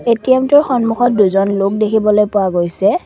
ATM টোৰ সন্মুখত দুজন লোক দেখিবলৈ পোৱা গৈছে।